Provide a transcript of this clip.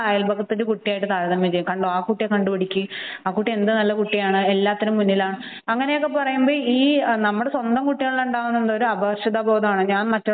എപ്പോഴും നമ്മൾ അയല്പക്കത്തെ കുട്ടിയുമായി താരതമ്യം ചെയ്യും ആ കുട്ടിയെ കണ്ടുപഠിക്ക് ആ കുട്ടി എന്ത് നല്ല കുട്ടിയാണ് എല്ലാത്തിനും മുന്നിലാണ് അപ്പോൾ നമ്മുടെ സ്വന്തം കുട്ടികളിൽ ഉണ്ടാവുന്നത് ഒരു അപകര്ഷതാബോധമാണ്